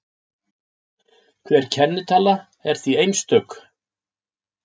Hver kennitala er því einstök.